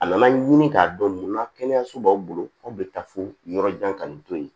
A nana ɲini k'a dɔn munna kɛnɛyaso b'aw bolo aw bɛ taa fo yɔrɔ jan ka nin to yen